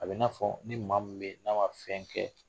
A bɛ i n'a fɔ ni maa min bɛ yen n'a ma fɛn kɛ